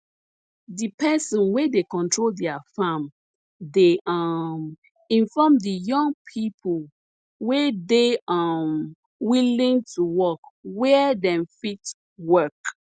the person wey dey control their farm dey um inform the young people wey dey um willing to work where dem fit work